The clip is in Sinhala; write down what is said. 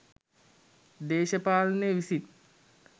දේශපාලනය විසින්